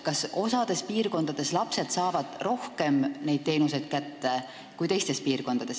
Kas osas piirkondades saavad lapsed rohkem neid teenuseid kätte kui teistes?